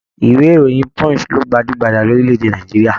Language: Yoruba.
Ìwé ìròyìn Punch lo gbajúgbajà ní orílẹ̀-èdè Nàìjíríà.